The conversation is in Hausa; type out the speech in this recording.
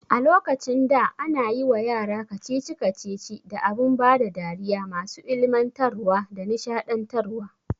A lokacin da ana yiwa yara kacici kacici da abun bada dariya masu ilmantarwa da nishaɗantar wa